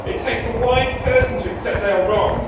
It takes a wise person to accept they are wrong.